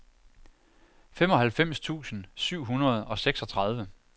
femoghalvfems tusind syv hundrede og seksogtredive